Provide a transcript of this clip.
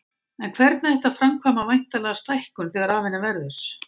En hvernig ætti að framkvæma væntanlega stækkun þegar af henni verður.